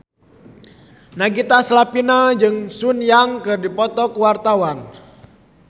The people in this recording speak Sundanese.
Nagita Slavina jeung Sun Yang keur dipoto ku wartawan